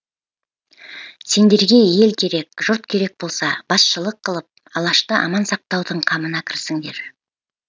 сендерге ел керек жұрт керек болса басшылық қылып алашты аман сақтаудың қамына кірісіңдер